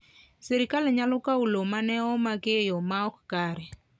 Sirkal nyalo kawo lowo ma ne omaki e yo ma ok kare.